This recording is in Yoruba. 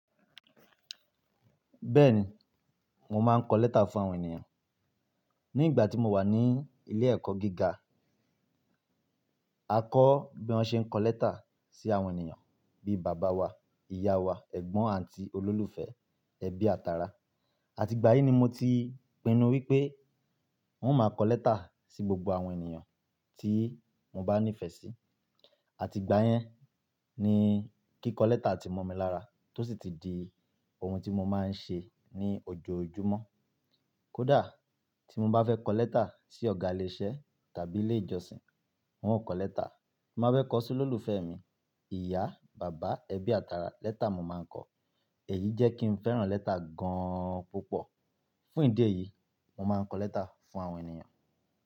Bẹ́ẹ̀ni, mo máa ń kọ lẹ́tà fún àwọn ènìyàn. Ní ìgbà tí mo wà ní ilé ẹ̀kọ́ gíga, a kọ́ bí wọ́n ṣe ń kọ lẹ́tà sí àwọn ènìyàn bíi bàbá wa, ìyá wa, ẹ̀gbọ́n, àǹtí, olólùfẹ́, ẹbí àtara àti gbá yìí ni mo ti pinnu wípé n ó máa kọ lẹ́tà sí gbogbo àwọn ènìyàn tí mo bá nífẹ̀ẹ́ sí. Àti gbá yẹn ni kíkọ lẹ́tà ti mọ̀ mi lára tó sì ti di ohun tí mo máa ń ṣe ní ojoojúmọ́. Kódà tí mo bá fẹ́ kọ lẹ́tà sí ọ̀gá ilé iṣẹ́ tàbí ilé ìjọsìn, n ó kọ lẹ́tà. Mo máa fẹ́ kọ sí olólùfẹ́ mi, ìyá, bàbá, ẹbí àtara lẹ́tà mo máa ń kọ. Èyí jẹ́ kí n fẹ́ràn lẹ́tà gan púpọ̀. Fún ìdí èyí, mo máa ń kọ lẹ́tà fún àwọn ènìyàn.